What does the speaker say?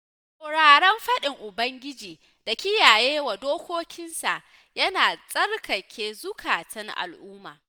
Sauraron faɗin ubangiji da kiyaye dokokinsa yana tsarkake zukatan al'umma.